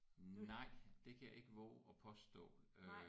Nej det kan jeg ikke vove at påstå øh